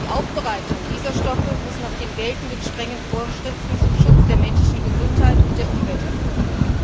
Die Aufbereitung dieser Stoffe muss nach den geltenden strengen Vorschriften zum Schutz der menschlichen Gesundheit und der Umwelt erfolgen.